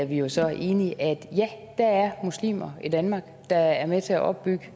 vi jo så enige at ja der er muslimer i danmark der er med til at opbygge